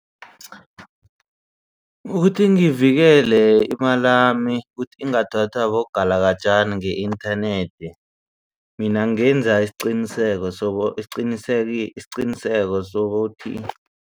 Ukuthi ngivikele imali lami kuthi ingathathwa bogalajana nge-internet mina ngenza isiqiniseko so isiqinisekiso isiqiniseko sokuthi